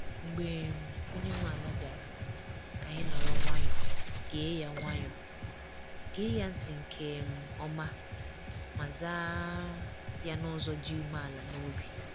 Mgbe um onye nwe ala bịara, ka anyị nọrọ nwayọọ, gee ya nwayọọ, gee ya ntị nke um ọma, ma zaa um ya n’ụzọ dị umeala n’obi.